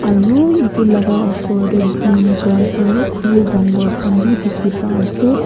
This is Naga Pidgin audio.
aru edu laka osor tae green grass aro khuri dangor khan bi dikhipa ase--